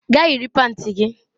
Gaa yiri panti gị!